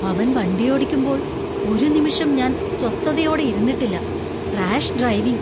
അവൻ വണ്ടിയോടിക്കുമ്പോൾ ഒരു നിമിഷം ഞാൻ സ്വസ്ഥതയോടെ ഇരുന്നിട്ടില്ല. Rash driving!